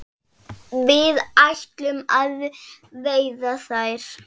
Við ætlum að veiða þær